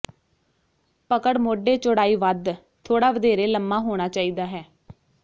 ਪਕੜ ਮੋਢੇ ਚੌੜਾਈ ਵੱਧ ਥੋੜ੍ਹਾ ਵਧੇਰੇ ਲੰਮਾ ਹੋਣਾ ਚਾਹੀਦਾ ਹੈ